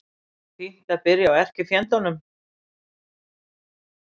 Fínt að byrja á erkifjendunum